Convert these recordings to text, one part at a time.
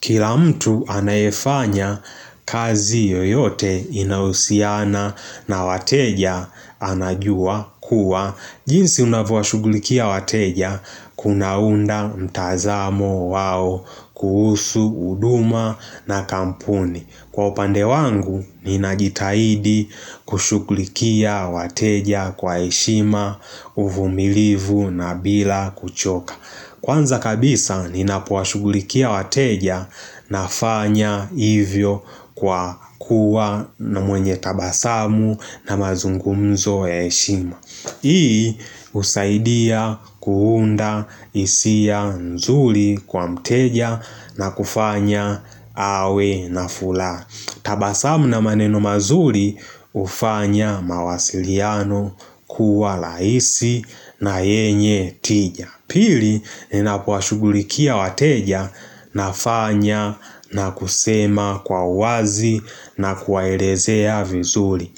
Kila mtu anayefanya kazi yoyote inahusiana na wateja anajua kuwa jinsi unavyowashughulikia wateja kunaunda mtazamo wao kuhusu huduma na kampuni. Kwa upande wangu, ninajitahidi kushughulikia wateja kwa heshima, uvumilivu na bila kuchoka. Kwanza kabisa ninapowashughulikia wateja nafanya hivyo kwa kuwa na mwenye tabasamu na mazungumzo ya heshima Hii husaidia kuunda hisia nzuri kwa mteja na kufanya awe na furaha. Tabasamu na maneno mazuri hufanya mawasiliano kuwa rahisi na yenye tija. Pili, ninapowashughulikia wateja nafanya na kusema kwa uwazi na kuwaelezea vizuri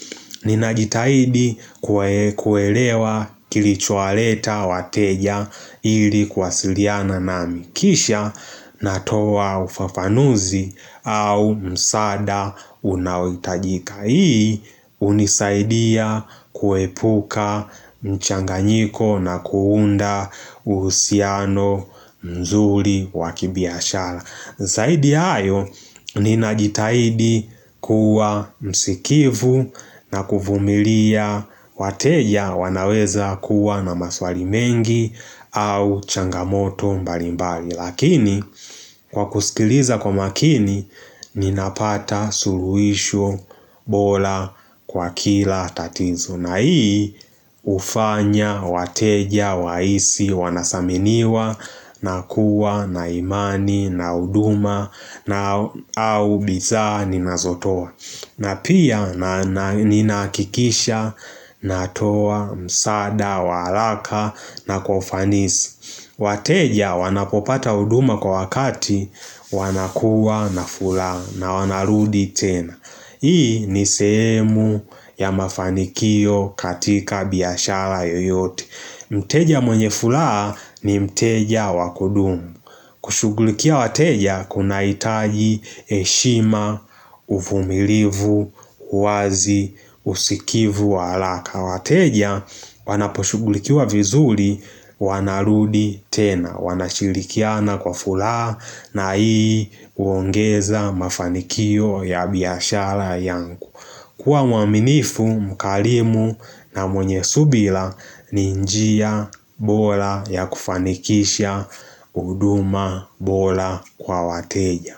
Ninajitahidi kuelewa kilichowaleta wateja ili kuwasiliana nami kisha natoa ufafanuzi au msaada unaohitajika. Hii hunisaidia kuepuka changanyiko na kuunda uhusiano mzuri wa kibiashara Zaidi ya hayo ninajitahidi kuwa msikivu na kuvumilia wateja wanaweza kuwa na maswali mengi au changamoto mbali mbali lakini kwa kusikiliza kwa makini, ninapata suluhisho bora kwa kila tatizo. Na hii hufanya wateja wahisi, wanasaminiwa na kuwa na imani na huduma na au bidhaa ninazotoa na pia, ninahakikisha natoa msaada wa haraka na kwa ufanisi wateja wanapopata huduma kwa wakati wanakuwa na furaha na wanarudi tena. Hii ni sehemu ya mafanikio katika biashara yoyote. Mteja mwenye furaha ni mteja wa kudumu. Kushughulikia wateja kunahitaji heshima, uvumilivu, uwazi, usikivu wa haraka. Na wateja wanaposhughulikiwa vizuri wanarudi tena. Wanashirikiana kwa furaha na hii huongeza mafanikio ya biashara yangu. Kiwa mwaminifu, mkarimu na mwenye subira ni njia bora ya kufanikisha huduma bora kwa wateja.